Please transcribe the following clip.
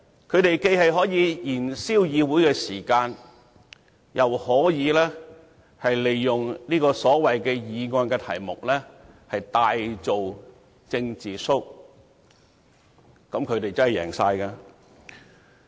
他們既可藉此燃燒議會時間，亦可利用議案題目大做"政治 show"， 這樣他們真的可謂全贏。